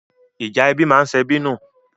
Ìjà ẹbí ma ń sebí nù.